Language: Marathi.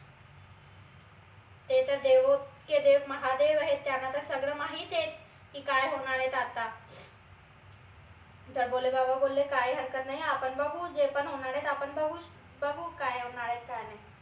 ते तर देवो के देव महादेव आहेत त्यांना तर सगळं माहित ए की काय होनार आहे तर आता तर भोले बाबा बोलले काही हरकत नाई अपण बघू जे पन होनार ए आपन बघू बघू काय होनार ए काय नाई